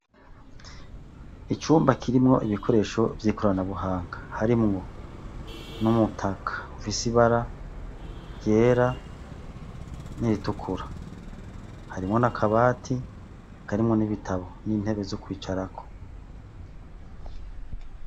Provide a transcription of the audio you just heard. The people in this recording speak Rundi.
Icumba kirimwo ibikoresho vyikoranabuhanga harimwo n'umutaka ufise ibara ryera n'iritukura, harimwo n'akabati karimwo n'ibitabo n'intebe zo kwicarako.